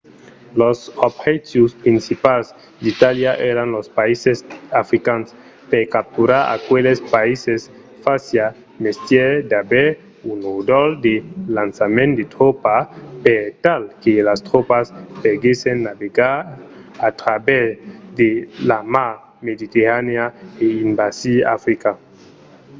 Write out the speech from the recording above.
los objectius principals d’itàlia èran los païses africans. per capturar aqueles païses fasiá mestièr d’aver un ròdol de lançament de tropas per tal que las tropas poguèssen navegar a travèrs de la mar mediterranèa e envasir africa